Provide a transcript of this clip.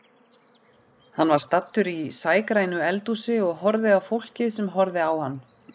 Hann var staddur í sægrænu eldhúsi og horfði á fólkið sem horfði á hann.